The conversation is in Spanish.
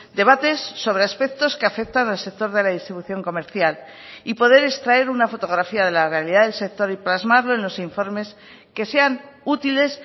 debates sobre aspectos que afectan al sector de la distribución comercial y poder extraer una fotografía de la realidad del sector y plasmarlo en los informes que sean útiles